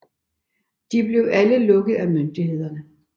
De blev alle lukket af myndighederne